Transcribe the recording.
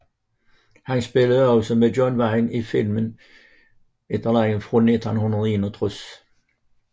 Han spillede også med John Wayne i filmen The Comancheros fra 1961